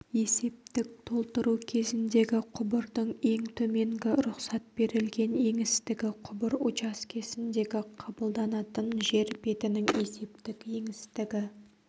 есептік толтыру кезіндегі құбырдың ең төменгі рұқсат берілген еңістігі құбыр учаскесіндегі қабылданатын жер бетінің есептік еңістігі